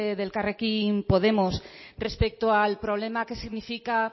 del elkarrekin podemos respecto al problema que significa